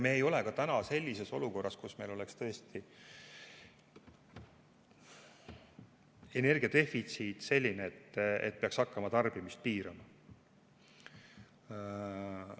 Me ei ole täna sellises olukorras, kus meil oleks energia defitsiit selline, et peaks hakkama tarbimist piirama.